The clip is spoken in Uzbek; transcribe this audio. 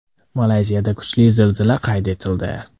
Malayziyada kuchli zilzila qayd etildi.